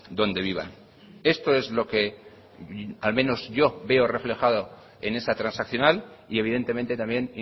donde vivan esto es lo que al menos yo veo reflejado en esa transaccional y evidentemente también